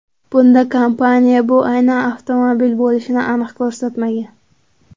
Bunda kompaniya bu aynan avtomobil bo‘lishini aniq ko‘rsatmagan.